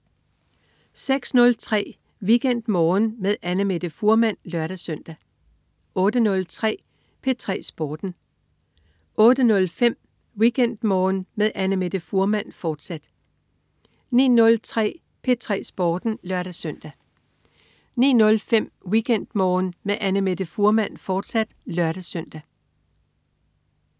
06.03 WeekendMorgen med Annamette Fuhrmann (lør-søn) 08.03 P3 Sporten 08.05 WeekendMorgen med Annamette Fuhrmann, fortsat 09.03 P3 Sporten (lør-søn) 09.05 WeekendMorgen med Annamette Fuhrmann, fortsat (lør-søn)